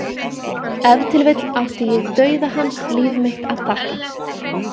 Ef til vill átti ég dauða hans líf mitt að þakka.